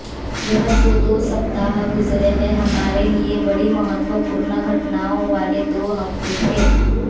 यह जो दो सप्ताह गुज़रे हैं हमारे लिए बड़ी महत्वपूर्ण घटनाओं वाले दो हफ़्ते थे